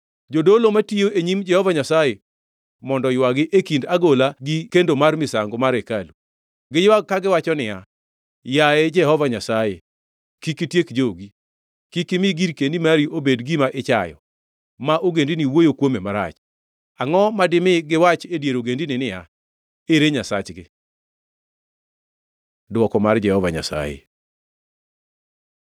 Jodolo, matiyo e nyim Jehova Nyasaye, mondo oywagi, e kind agola gi kendo mar misango mar hekalu. Giywag kagiwacho niya, “Yaye Jehova Nyasaye, kik itiek jogi. Kik imi girkeni mari obed gima ichayo, ma ogendini wuoyo kuome marach. Angʼo ma dimi giwachi e dier ogendini niya, ‘Ere Nyasachgi?’ ” Dwoko mar Jehova Nyasaye